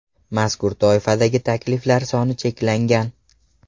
Mazkur toifadagi takliflar soni cheklangan.